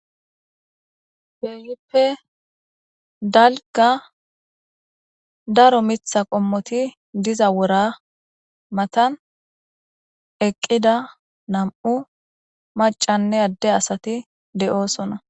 Kehippe dalga daro mitha qommoti diza wora matan eqqida nam7u macanne adde asati desona